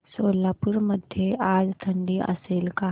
सोलापूर मध्ये आज थंडी असेल का